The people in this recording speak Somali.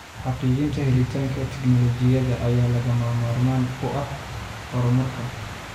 Xaqiijinta helitaanka tignoolajiyada ayaa lagama maarmaan u ah horumarka.